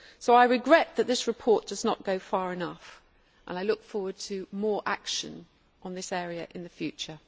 I regret that this report does not go far enough, and I look forward to more action on this area in the future.